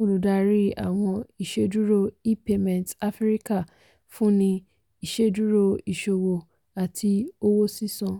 olùdarí àwọn iṣẹ́dúró e-payments afíríkà fúnni iṣẹ́dúró iṣòwò àti owó sísan.